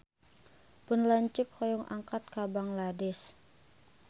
Pun lanceuk hoyong angkat ka Bangladesh